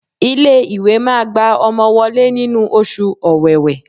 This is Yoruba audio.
Ilé ìwé máa gba ọmọ wọlé nínú oṣù ọ̀wẹ̀wẹ̀.